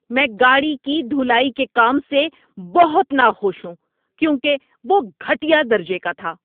میں گاڑی کی دھلائی کے کام سے بہت ناخوش ہوں کیونکہ وہ گھٹیا درجے کا تھا۔